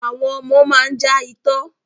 Àwọn ọmọ máa ń já itọ́.